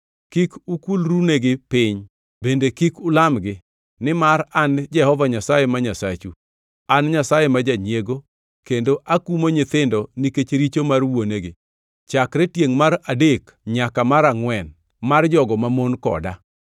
Kik ukulrunegi piny; bende kik ulamgi, nimar an Jehova Nyasaye ma Nyasachu, an Nyasaye ma janyiego kendo akumo nyithindo nikech richo mar wuonegi chakre tiengʼ mar adek nyaka mar angʼwen mar jogo mamon koda,